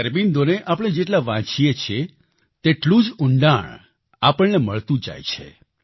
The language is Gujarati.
શ્રી અરબિંદોને આપણે જેટલા વાંચીએ છીએ તેટલું જ ઉંડાણ આપણને મળતું જાય છે